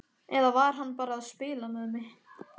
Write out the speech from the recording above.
Eða var hann bara að spila með mig?